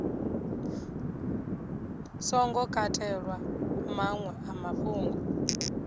songo katelwa maṅwe a mafhungo